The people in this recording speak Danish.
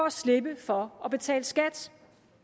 at slippe for at betale skat